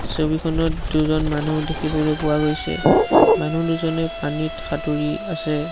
ছবিখনত দুজন মানুহ দেখিবলৈ পোৱা গৈছে মানুহ দুজনে পানীত সাঁতোৰি আছে।